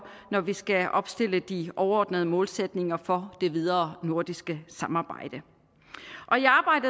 når vi skal opstille de overordnede målsætninger for det videre nordiske samarbejde